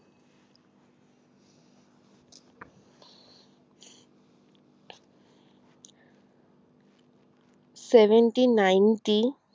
seventy ninety T